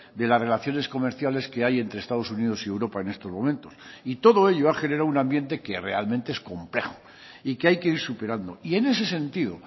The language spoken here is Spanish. de las relaciones comerciales que hay entre estados unidos y europa en estos momentos y todo ello ha generado un ambiente que realmente es complejo y que hay que ir superando y en ese sentido